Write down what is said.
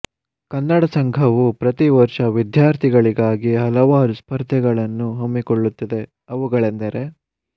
ಕನ್ನಡ ಸಂಘವು ಪ್ರತಿ ವರ್ಷ ವಿದ್ಯಾರ್ಥಿಗಳಿಗಾಗಿ ಹಲವಾರು ಸ್ಪರ್ಧೆಗಳನ್ನು ಹಮ್ಮಿಕೊಳ್ಳುತ್ತದೆ ಅವುಗಳೆಂದರೆ